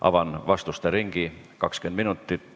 Avan vastuste ringi, 20 minutit.